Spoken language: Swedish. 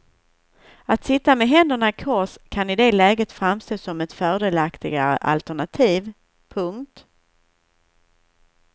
Att sitta med händerna i kors kan i det läget framstå som ett fördelaktigare alternativ. punkt